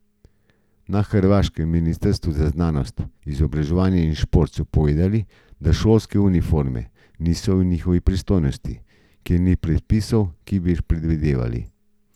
Na hrvaškem ministrstvu za znanost, izobraževanje in šport so povedali, da šolske uniforme niso v njihovi pristojnosti, ker ni predpisov, ki bi jih predvidevali.